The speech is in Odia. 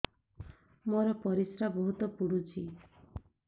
ମୋର ପରିସ୍ରା ବହୁତ ପୁଡୁଚି